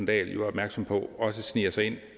dahl jo er opmærksom på også sniger sig ind